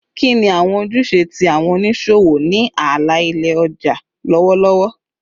Kini awọn ojuse ti awọn oniṣowo ni ala-ilẹ ọja lọwọlọwọ?